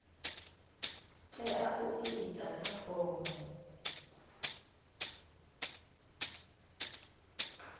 tea u itwa kha fomo